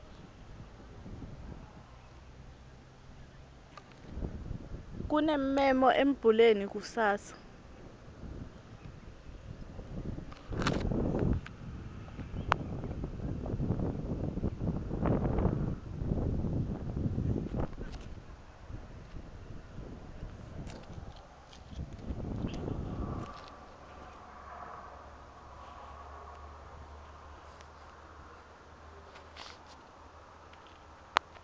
kunemmemo embuleni kusasa